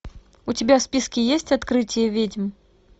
у тебя в списке есть открытие ведьм